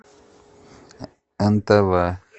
нтв